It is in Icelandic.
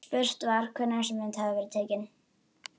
Spurt var, hvenær þessi mynd hefði verið tekin?